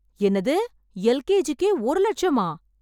என்னது... எல்கேஜிக்கே ஒரு லட்சமா...